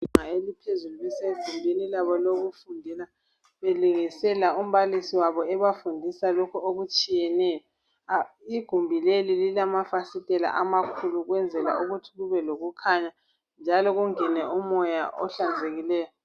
Izinga eliphezulu besegumbuni labo lokufundela belingisela umbalisi wabo ebafundisa lokho okutshiyeneyo , igumbi leli lilamafasitela amakhulu ukwenzela ukuthi kube lokukhanya njalo kungene umoya ohlanzekileyo